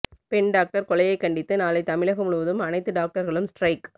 பெண் டாக்டர் கொலையைக் கண்டித்து நாளை தமிழகம் முழுவதும் அனைத்து டாக்டர்களும் ஸ்டிரைக்